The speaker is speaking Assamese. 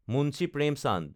মুন্সী প্ৰেমচান্দ